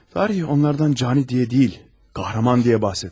Tarih onlardan cani diye değil, kahraman diye bahseder.